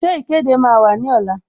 Ṣé ìkéde máa wà ní ọ̀la?